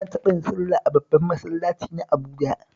Na taɓa yin sallah a babban masallaci na Abuja